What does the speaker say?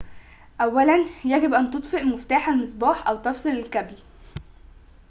أولاً يجب أن تطفئ مفتاح المصباح أو تفصل الكابل